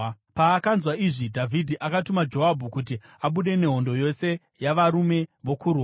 Paakanzwa izvi, Dhavhidhi akatuma Joabhu kuti abude nehondo yose yavarume vokurwa.